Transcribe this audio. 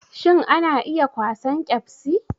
Shin ana iya kwasan ƙebsi?